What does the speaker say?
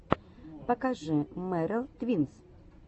покажи меррел твинс